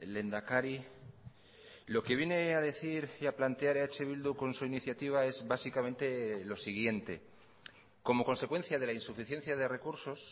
lehendakari lo que viene a decir y a plantear eh bildu con su iniciativa es básicamente lo siguiente como consecuencia de la insuficiencia de recursos